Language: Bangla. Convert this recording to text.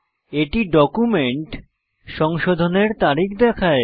এটি ডকুমেন্ট সংশোধনের তারিখ দেখায়